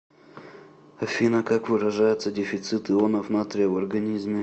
афина как выражается дефицит ионов натрия в организме